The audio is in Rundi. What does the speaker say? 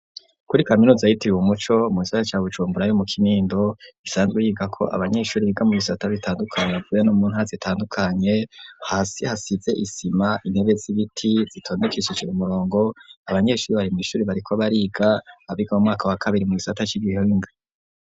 Kuri kaminuza ayitiriwe umuco musaha ca bucumburayo mu kinindo gisanzwe yiga ko abanyeshuri biga mu bisata bitandukanye bavuye no muntazitandukanye hasi hasize isima intebe z'ibiti zitondukishije mu murongo abanyeshuri barimw'ishuri bariko bariga abiga mu mwaka wa kabiri mu'gisata c'igihenge.